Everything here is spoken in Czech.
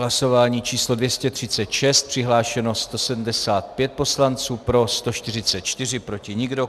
Hlasování číslo 236, přihlášeno 175 poslanců, pro 144, proti nikdo.